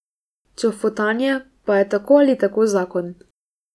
Čofotanje pa je tako ali tako zakon.